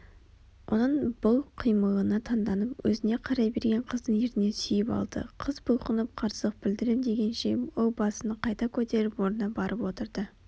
оның бұл қимылына таңданып өзіне қарай берген қыздың ернінен сүйіп алды Қыз бұлқынып қарсылық білдірем дегенше ол басын қайта көтеріп орнына барып отырды